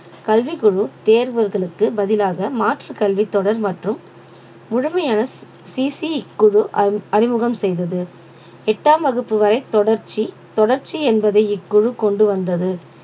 கல்விக் குழு தேர்வுகளுக்கு பதிலாக மாற்றுக் கல்வி தொடர் மற்றும் முழுமையான சி சி குழு அ~ அறிமுகம் செய்தது எட்டாம் வகுப்பு வரை தொடர்ச்சி தொடர்ச்சி என்பது இக்குழு கொண்டு வந்தது